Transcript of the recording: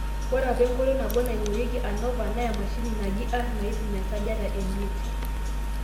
ore apa enkoitoi nabo naingorieki ANOVA naa emashini naji R naipim esajata eimiet